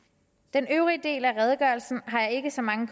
den øvrige del af redegørelsen har jeg ikke så mange